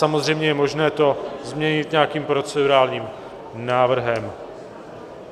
Samozřejmě je možné to změnit nějakým procedurálním návrhem.